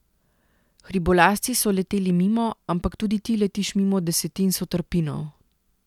Hribolazci so leteli mimo, ampak tudi ti letiš mimo desetin sotrpinov.